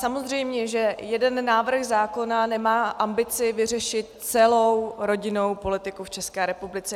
Samozřejmě že jeden návrh zákona nemá ambici vyřešit celou rodinnou politiku v České republice.